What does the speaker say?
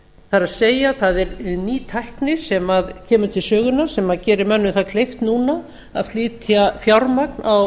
það er það er ný tækni sem kemur til sögunnar sem gerir mönnum það kleift núna að flytja fjármagn á